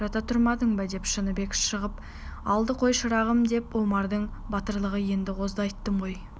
жата тұрмадың ба деп шыныбек шағып алды қой шырағым деп омардың батырлығы енді қозды айттым ғой